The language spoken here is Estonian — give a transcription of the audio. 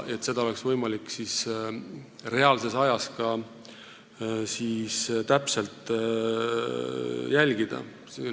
Seda peaks olema võimalik reaalajas täpselt jälgida.